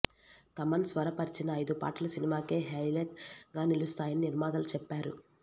తమన్ స్వరపర్చిన ఐదు పాటలు సినిమాకే హైలెట్ గా నిలుస్తాయని నిర్మాతలు చెప్పారు